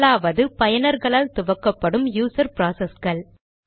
முதலாவது பயனர்களால் துவக்கப்படும் யூசர் ப்ராசஸ்கள்